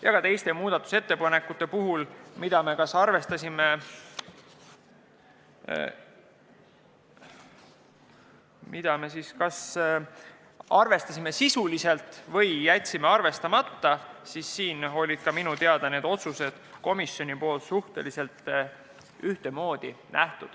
Ja ka teiste muudatusettepanekute puhul, mida me kas arvestasime sisuliselt või jätsime arvestamata, oli suhtumine minu teada suhteliselt ühesugune.